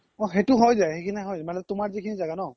অ সেইতো হয় যাই সিখিনি হয় মানে তুমাৰ যিখিনি জাগা ন